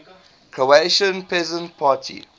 croatian peasant party